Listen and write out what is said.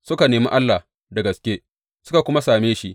Suka nemi Allah da gaske, suka kuma same shi.